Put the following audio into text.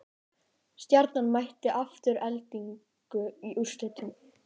Stjarnan mætir Aftureldingu í úrslitum